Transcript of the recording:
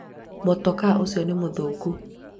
mũtokaa ũcio nĩ mũthũku